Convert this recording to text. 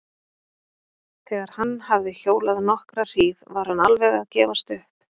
Þegar hann hafði hjólað nokkra hríð var hann alveg að gefast upp.